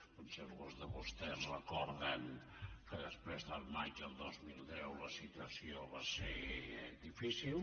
potser alguns de vostès recorden que després del maig del dos mil deu la situació va ser difícil